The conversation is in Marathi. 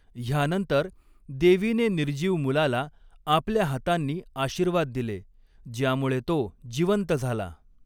ह्यानंतर, देवीने निर्जीव मुलाला आपल्या हातांनी आशीर्वाद दिले, ज्यामुळे तो जिवंत झाला.